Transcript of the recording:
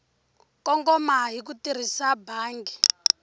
kongoma hi ku tirhisa bangi